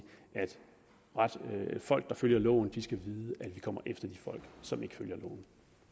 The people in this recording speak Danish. folk der følger loven skal vide at vi kommer efter de folk som ikke følger loven